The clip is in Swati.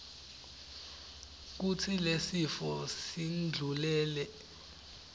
kutsi lesifo sindlulele